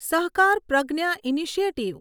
સહકાર પ્રજ્ઞા ઇનિશિયેટિવ